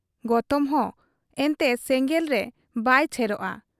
ᱜᱚᱛᱚᱢᱦᱚᱸ ᱮᱱᱛᱮ ᱥᱮᱸᱜᱮᱞ ᱨᱮ ᱵᱟᱭ ᱪᱷᱮᱨᱚᱜ ᱟ ?